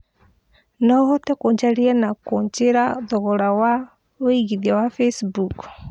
no ũhote kũnjararia na kũnjiĩra thogora wa wĩigĩthĩa wa Facebook